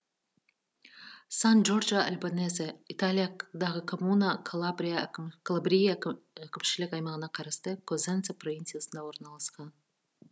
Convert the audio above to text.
сан джорджо альбанезе италиядағы коммуна калабрия әкімшілік аймағына қарасты козенца провинциясында орналасқан